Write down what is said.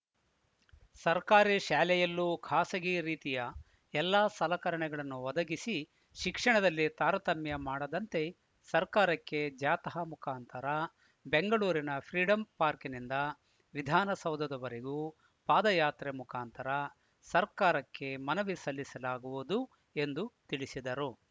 ಸರ್ಕಾರಿ ಶಾಲೆಯಲ್ಲೂ ಖಾಸಗಿ ರೀತಿಯ ಎಲ್ಲಾ ಸಲಕರಣೆಗಳನ್ನು ಒದಗಿಸಿ ಶಿಕ್ಷಣದಲ್ಲಿ ತಾರತಮ್ಯ ಮಾಡದಂತೆ ಸರ್ಕಾರಕ್ಕೆ ಜಾಥಾ ಮುಖಾಂತರ ಬೆಂಗಳೂರಿನ ಫ್ರೀಡಂ ಪಾರ್ಕಿನಿಂದ ವಿಧಾನಸೌಧದವರೆಗೂ ಪಾದಯಾತ್ರ ಮುಖಾಂತರ ಸರ್ಕಾರಕ್ಕೆ ಮನವಿ ಸಲ್ಲಿಸಲಾಗುವುದು ಎಂದು ತಿಳಿಸಿದರು